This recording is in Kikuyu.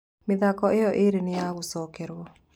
Mĩthako ĩyo ĩrĩ nĩ ya gũcokerwo.